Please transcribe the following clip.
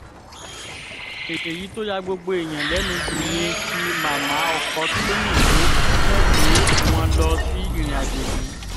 èyí tó ya gbogbo èèyàn lẹ́nu jù ni ti màmá ọkọ tọ́yìn tó tẹ̀lé wọn lọ sí ìrìnàjò yìí